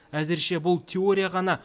әзірше бұл теория ғана